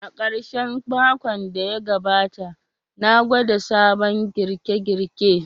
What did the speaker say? A karshen makon da ya gabata, na gwada sabon girke-girke.